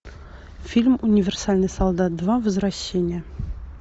фильм универсальный солдат два возвращение